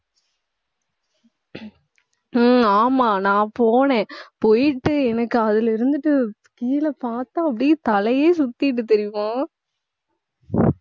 உம் ஆமா நான் போனேன் போயிட்டு எனக்கு அதுல இருந்துட்டு கீழே பார்த்தா அப்படியே தலையே சுத்திட்டு தெரியுமா